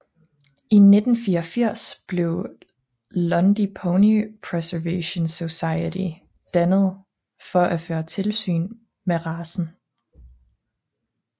I 1984 blev Lundy Pony Preservation Society dannet for at føre tilsyn med racen